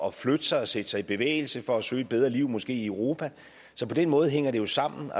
at flytte sig og sætte sig i bevægelse for at søge et bedre liv måske i europa så på den måde hænger det jo sammen